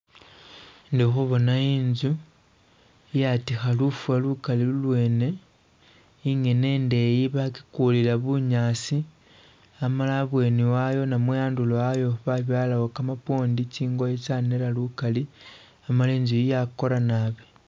Indi khubona inzu iyatikha luffa lukali lungene ingene indeyi bakikulila bunyaasi amala abweni ayaayo oba andulo ayoo babyalawo kamapwondi tsingoye tsanera lukali amala inzu iyi yakora naabi